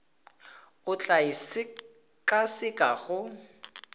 o tla e sekaseka go